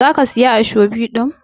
za ki Siya ashobi din?